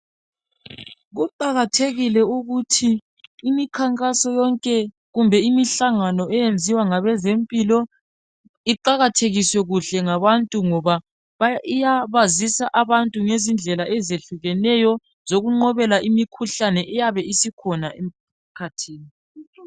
Kuqakathekile ukuthi imikhankaso yonke kumbe imihlangano eyenziwa ngabezempilo iqakathekiswe kuhle ngabantu ngoba iyabazisa abantu ngezindlela ezehlukeneyo zokuqobela imikhuhlane eyabe isikhona emkhathini.